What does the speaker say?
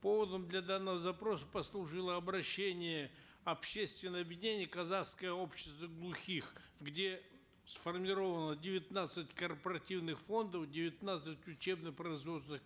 поводом для данного запроса послужило обращение общественного объединения казахское общество глухих где сформировано девятнадцать корпоративных фондов девятнадцать учебно производственных